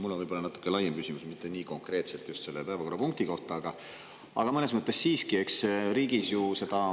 Mul on võib-olla natuke laiem küsimus, mitte nii konkreetselt just selle päevakorrapunkti kohta, aga mõnes mõttes siiski.